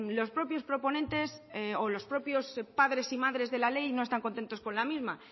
los propios proponentes o los propios padres y madres de la ley no están contentos con la misma